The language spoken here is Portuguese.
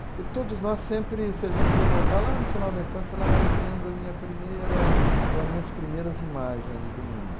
Porque todos nós sempre, se a gente for voltar lá no final da infância, falar, ah, eu lembro a minha primeira, ou as minhas primeiras imagens do mundo.